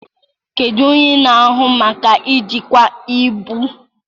Kedu onye na-ahụ maka njikwa ibu?